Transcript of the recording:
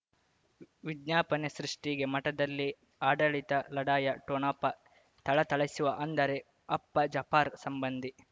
ವಿಜ್ಞಾಪನೆ ಸೃಷ್ಟಿಗೆ ಮಠದಲ್ಲಿ ಆಡಳಿತ ಲಢಾಯಿ ಠೊಣಪ ಥಳಥಳಿಸುವ ಅಂದರೆ ಅಪ್ಪ ಜಾಪರ್ ಸಂಬಂಧಿ